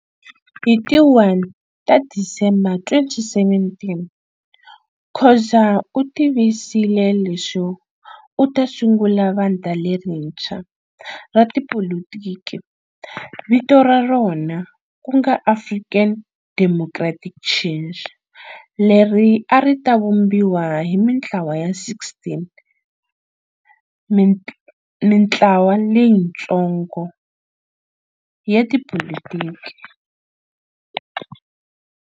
Hi ti 1 ta Disemba 2017, Khoza u tivisile leswo u ta sungula vandla lerintshwa ra tipolitiki, vito ra rona ku nga African Democratic Change leri a ri ta vumbiwa hi mintlawa ya 16 mintlwa leyitsongoya tipolitiki.